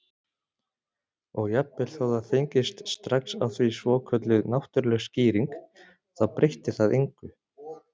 Og jafnvel þó það fengist strax á því svokölluð náttúrleg skýring þá breytti það engu.